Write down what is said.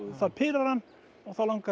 það pirrar hann og þá langar